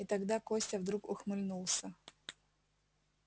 и тогда костя вдруг ухмыльнулся